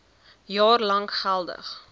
jaar lank geldig